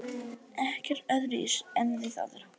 Ekkert öðruvísi en við aðra.